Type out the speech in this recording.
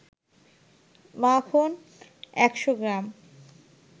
মাখন ১০০ গ্রাম